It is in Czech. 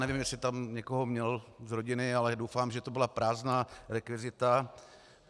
Nevím, jestli tam někoho měl z rodiny, ale doufám, že to byla prázdná rekvizita.